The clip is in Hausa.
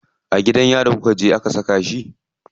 A gidan yarin kuje aka saka shi.